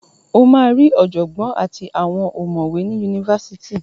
Ó máa ri ọ̀jọ̀gbọ́ àti àwọn ọ̀mọ̀wé ni Yunifásitì.